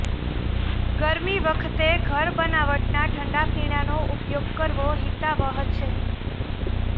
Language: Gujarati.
ગરમી વખતે ઘર બનાવટના ઠંડા પીણાનો ઉપયોગ કરવો હિતાવહ છે